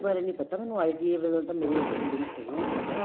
ਬਾਰੇ ਨੀ ਪਤਾ ਮੈਨੂੰ ITA ਵਲੋ ਤਾਂ ਮੇਰੇ ਅੱਛੇ link ਹੈਗੇ ਏ ਪਤਾ